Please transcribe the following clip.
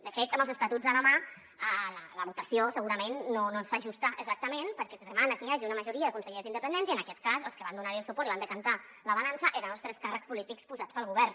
de fet amb els estatuts a la mà la votació segurament no s’hi ajusta exactament perquè es demana que hi hagi una majoria de consellers independents i en aquest cas els que van donarhi suport i van decantar la balança eren els tres càrrecs polítics posats pel govern